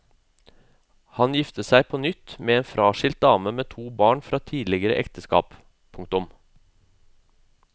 Han gifter seg på nytt med en fraskilt dame med to barn fra tidligere ekteskap. punktum